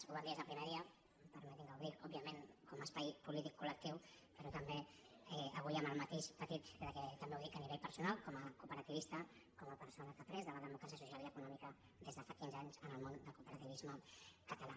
ho vam dir des del primer dia permetin me que ho digui òbviament com a espai polític col·lectiu però també avui amb el matís petit que també ho dic a nivell personal com a cooperativista com a persona que ha après de la democràcia social i econòmica des de fa quinze anys en el món del cooperativisme català